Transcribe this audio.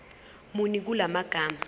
muni kula magama